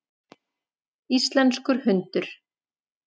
Íslenskur hundur.